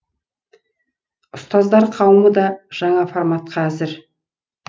ұстаздар қауымы да жаңа форматқа әзір